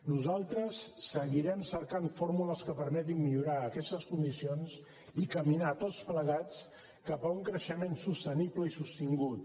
nosaltres seguirem cercant fórmules que permetin millorar aquestes condicions i caminar tots plegats cap a un creixement sostenible i sostingut